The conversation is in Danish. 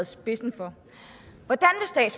spidsen for hvordan